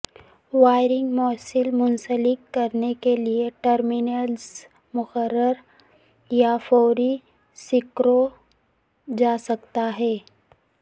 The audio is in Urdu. وائرنگ موصل منسلک کرنے کے لئے ٹرمینلز مقررہ یا فوری سکرو جا سکتا ہے